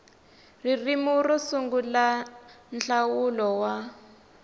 ririmi ro sungula nhlawulo wa